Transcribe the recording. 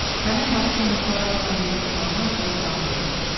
Həmin Maksim Nikolayeviç ona dedi ki, başına soyuq kompress qoy.